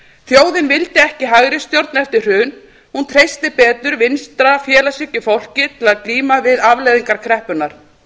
þjóðin vildi ekki hægri stjórn eftir hrun hún treysti bæta vinstra félagshyggjufólki til að glíma við afleiðingar kreppunnar